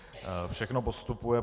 Všechno postupuje.